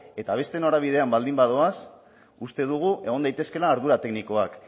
eta beste norabidean baldin badoaz uste dugu egon daitezkeela ardura teknikoak